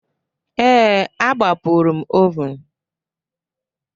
Ee, agbapụrụ m oven